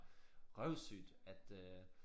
Røvsygt at øh